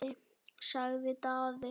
sagði Daði.